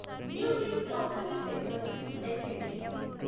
Newgen software technologies LTD